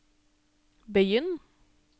begynn